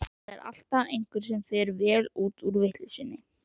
Það er alltaf einhver sem fer vel út úr vitleysunni.